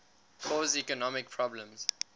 cause economic problems